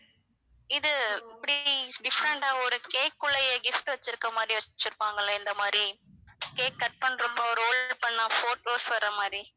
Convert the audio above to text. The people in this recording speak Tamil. இது இப்படி different ஆ ஒரு cake குல்லயே gift வச்சிருக்குற மாதிரி வச்சிருப்பாங்கல்ல இந்த மாதிரி cake cut பண்றப்போ roll பண்ணா photos வர்ற மாதிரி